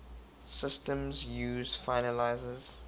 systems use finalizers